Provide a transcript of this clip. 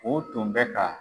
u tun bɛ ka.